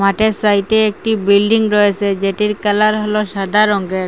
মাঠের সাইটে একটি বিল্ডিং রয়েসে যেটির কালার হল সাদা রঙ্গের।